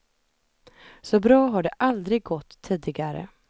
Så bra har det aldrig gått tidigare.